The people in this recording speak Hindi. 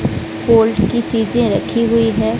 कोल्ड की चीजें रखी हुई है।